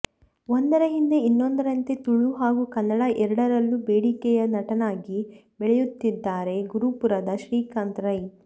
ಒಂದರ ಹಿಂದೆ ಇನ್ನೊಂದರಂತೆ ತುಳು ಹಾಗೂ ಕನ್ನಡ ಎರಡರಲ್ಲೂ ಬೇಡಿಕೆಯ ನಟನಾಗಿ ಬೆಳೆಯುತ್ತಿದ್ದಾರೆ ಗುರುಪುರದ ಶ್ರೀಕಾಂತ್ ರೈ